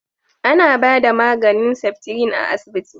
A na ba da maganin seftrin a asibiti